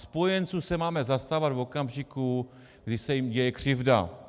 Spojenců se máme zastávat v okamžiku, kdy se jim děje křivda.